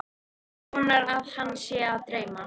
Vonar að hana sé að dreyma.